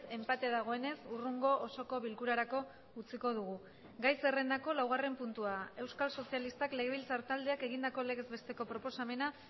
enpate dagoenez hurrengo osoko bilkurarako utziko dugu gai zerrendako laugarren puntua euskal sozialistak legebiltzar taldeak egindako legez besteko proposamena